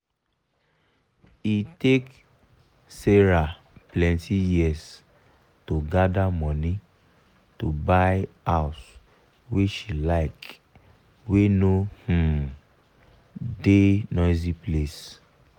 e take sarah plenty years to gather money to buy house wey she like wey no um da noisy place